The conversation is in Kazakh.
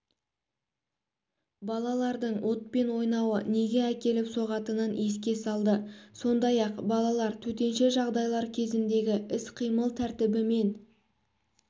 балалардың отпен ойнауы неге әкеліп соғатынын еске салды сондай-ақ балалар төтенше жағдайлар кезіндегі іс-қимыл тәртібімен